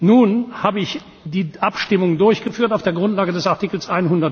Nun habe ich die Abstimmung durchgeführt auf der Grundlage des Artikels